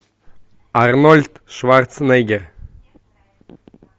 арнольд шварценеггер